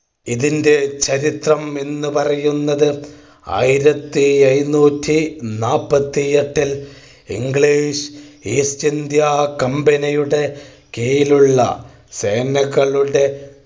ഇതിന്റെ ചരിത്രം എന്ന് പറയുന്നത് ആയിരത്തി എഴുന്നൂറ്റി നാപ്പത്തി എട്ടിൽ English East India Company യുടെ കീഴിലുള്ള സേനകളുടെ